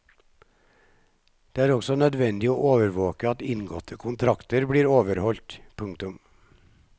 Det er også nødvendig å overvåke at inngåtte kontrakter blir overholdt. punktum